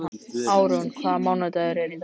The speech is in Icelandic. Árún, hvaða mánaðardagur er í dag?